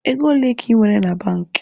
Ego ole ka I nwere na banki?